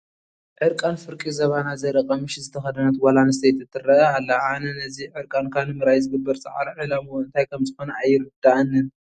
ዕርቃን ፍርቂ ዝባና ዘርኢ ቀምሽ ዝተኸደነት ጓል ኣነስተይቲ ትርአ ኣላ፡፡ ኣነ እዚ ዕርቃንካ ንምርኣይ ዝግበር ፃዕሪ ዕላምኡ እንታይ ከምዝኾነ ኣይርድአንን፡፡